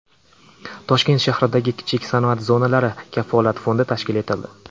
Toshkent shahridagi kichik sanoat zonalari Kafolat fondi tashkil etildi.